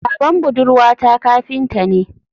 Baban budurwata kafinta ne